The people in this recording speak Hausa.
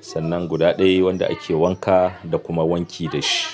Sannan guda ɗaya wanda ake wanka da kuma wanki da shi.